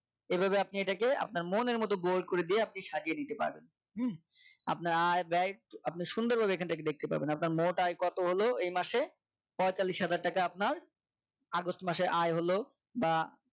এভাবে আপনি এটাকে আপনার মনের মত bold করে দিয়ে আপনি সাজিয়ে নিতে পারবেন হুম আপনার আয় ব্যয় আপনি সুন্দরভাবে এখান থেকে দেখতে পাবেন আপনার মোট আয় কত হল এই মাসে পঁয়তাল্লিশ হাজার টাকা আপনার আগস্ট মাসের আয় হল বা